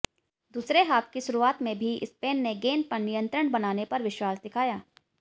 दूसरे हाफ की शुरुआत में भी स्पेन ने गेंद पर नियंत्रण बनाने पर विश्वास दिखाया